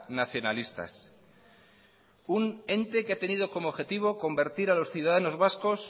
nacionalistas un ente que ha tenido como objetivo convertir a los ciudadanos vascos